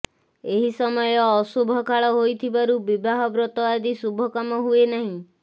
ଏହି ସମୟ ଅଶୁଭକାଳ ହୋଇଥିବାରୁ ବିବାହ ବ୍ରତ ଆଦି ଶୁଭ କାମ ହୁଏ ନାହିଁ